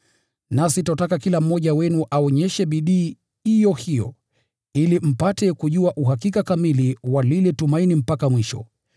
Nasi twataka kila mmoja wenu aonyeshe bidii iyo hiyo ili mpate kujua uhakika kamili wa lile tumaini mpaka mwisho,